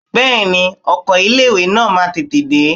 Bẹ́ẹ̀ni ọkọ̀ ilé ìwé náà máa tètè dé.